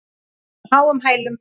Á háum hælum.